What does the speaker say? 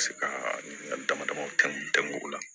Ka se ka n ka damadamaw kɛ o la